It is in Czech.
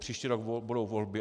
Příští rok budou volby.